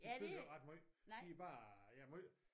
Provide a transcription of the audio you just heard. De fylder ikke ret meget de bare ja høje